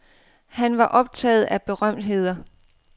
Han var optaget af berømtheder.